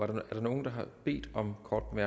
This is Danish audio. der er nogen der har bedt om korte